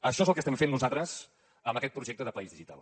això és el que estem fent nosaltres amb aquest projecte de país digital